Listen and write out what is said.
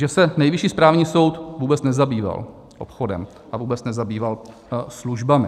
Že se Nejvyšší správní soud vůbec nezabýval obchodem a vůbec nezabýval službami.